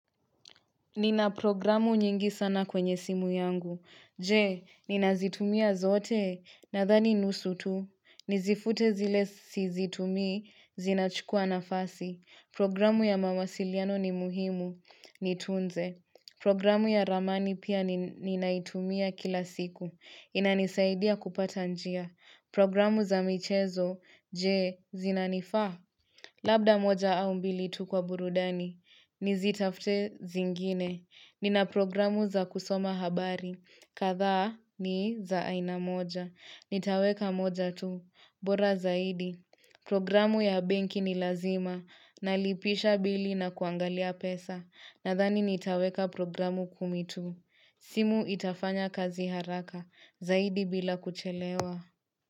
Nina programu nyingi sana kwenye simu yangu. Je, ninazitumia zote na dhani nusu tu. Nizifute zile sizitumii, zinachukua nafasi. Programu ya mamasiliano ni muhimu, nitunze. Programu ya ramani pia ninaitumia kila siku. Inanisaidia kupata njia. Programu za michezo, je, zinanifaa. Labda moja au mbili tu kwa burudani, nizitafute zingine. Nina programu za kusoma habari, kadhaa ni za aina moja Nitaweka moja tu, bora zaidi Programu ya benki ni lazima, nalipisha bili na kuangalia pesa Nadhani nitaweka programu kumitu simu itafanya kazi haraka, zaidi bila kuchelewa.